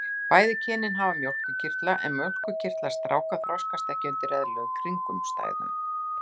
Bæði kynin hafa mjólkurkirtla en mjólkurkirtlar stráka þroskast ekki undir eðlilegum kringumstæðum.